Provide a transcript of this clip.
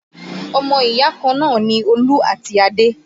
Ọmọ ìyá kan náà ni Olú àti Adé